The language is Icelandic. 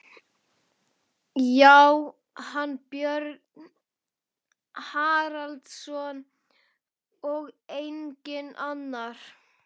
Já, hann, Björn Haraldsson, og enginn annar!